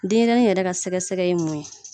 Denɲɛrɛnin yɛrɛ ka sɛgɛ sɛgɛ ye mun ye.